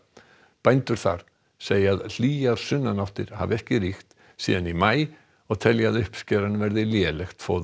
bændur þar segja að hlýjar sunnanáttir hafi ekki ríkt síðan í maí og telja að uppskeran verði lélegt fóður